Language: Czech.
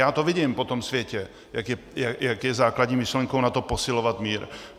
Já to vidím po tom světě, jak je základní myšlenkou NATO posilovat mír.